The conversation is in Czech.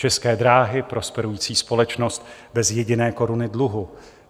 České dráhy, prosperující společnost bez jediné koruny dluhu.